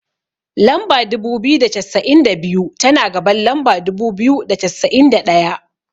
Lamba dubu biyu da cassa'in da biyu, tana gaban lamba dubu biyu da cassa'in da ɗaya.